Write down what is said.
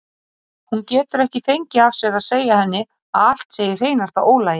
Hún getur ekki fengið af sér að segja henni að allt sé í hreinasta ólagi.